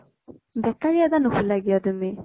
bakery এটা নোখোলা কিয় তুমি ?